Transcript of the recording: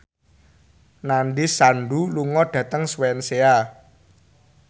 Nandish Sandhu lunga dhateng Swansea